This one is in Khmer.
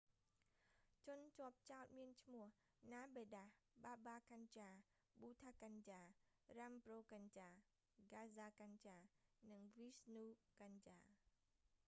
ជនជាប់ចោទមានឈ្មោះ namedas baba kanjar bhutha kanjar rampro kanjar gaza kanjar និង vishnu kanjar